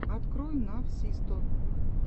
открой навсисто